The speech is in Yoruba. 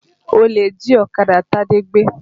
Olè jí ọ̀kadà Tade gbé